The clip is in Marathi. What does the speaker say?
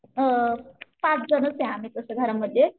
अ पाच जणच आहे तसं आम्ही घरामध्ये.